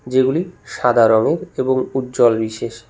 যেগুলি সাদা রঙের এবং উজ্জ্বল বিশেষ।